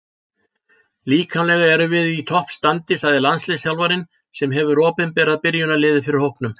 Líkamlega erum við í topp standi, sagði landsliðsþjálfarinn sem hefur opinberað byrjunarliðið fyrir hópnum.